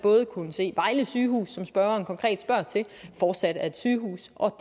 kunne se at vejle sygehus som spørgeren konkret spørger til fortsat er et sygehus og